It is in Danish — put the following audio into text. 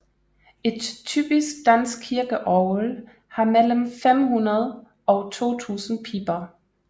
Et typisk dansk kirkeorgel har mellem 500 og 2000 piber